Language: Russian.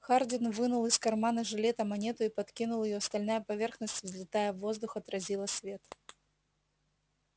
хардин вынул из кармана жилета монету и подкинул её стальная поверхность взлетая в воздух отразила свет